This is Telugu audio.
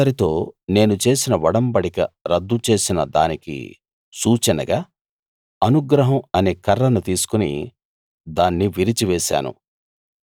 ప్రజలందరితో నేను చేసిన ఒడంబడిక రద్దు చేసిన దానికి సూచనగా అనుగ్రహం అనే కర్రను తీసుకుని దాన్ని విరిచివేశాను